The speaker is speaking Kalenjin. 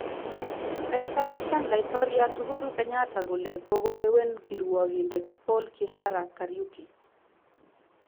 Koichapishan Laitoryat Uhuru Kenyatta kole koko lewen kirwogindet Poul Kihara Kariuki